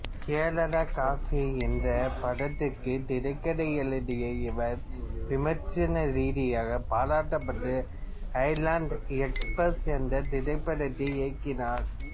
Kerala cafe என்றப் படத்திற்கு திரைக்கதை எழுதிய இவர் விமர்சன ரீதியாக பாராட்டப்பட்ட ஐலேண்ட் எக்ஸ்பிரஸ் என்ற திரைப்படத்தை இயக்கினார்